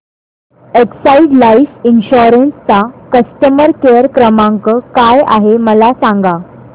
Exide life insurance चा customer care क्रमांक काय आहे मला सांगा